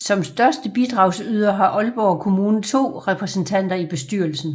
Som største bidragsyder har Aalborg Kommune 2 repræsentanter i bestyrelsen